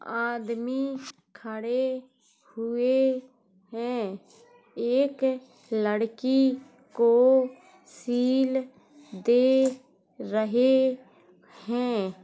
आदमी खड़े हुए हैं। एक लड़की को शील दे रहे हैं।